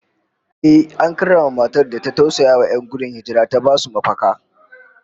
Ehh, an karrama matar da ta tausayawa 'yan gudun hijira ta basu mafaka